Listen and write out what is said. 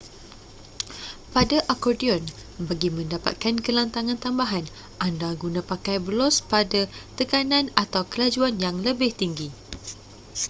pada akordion bagi mendapatkan kelantangan tambahan anda guna pakai belos pada tekanan atau kelajuan yang lebih tinggi